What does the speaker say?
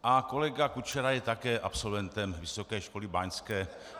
A kolega Kučera je také absolventem Vysoké školy báňské.